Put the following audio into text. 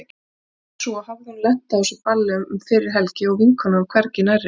En svo hafði hún lent á þessu balli um fyrri helgi og vinkonan hvergi nærri.